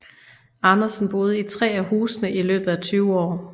Andersen boede i tre af husene i løbet af tyve år